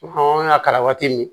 An ka kalan waati min